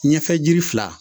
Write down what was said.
Ɲɛfɛ jiri fila